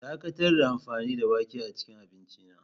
Dakatar da amfani da wake a cikin abinci na.